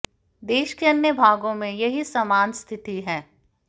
देश के अन्य भागों में यही समान स्थिति है